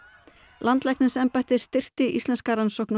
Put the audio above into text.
landlæknisembættið styrkti íslenska rannsókn á